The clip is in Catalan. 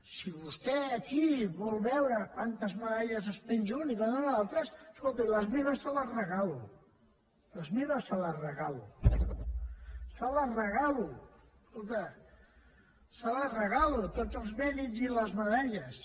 si vostè aquí vol veure quantes medalles es penja un i quantes els altres escolti i les meves les hi regalo les meves les hi regalo escolti les hi regalo tots els mèrits i els medalles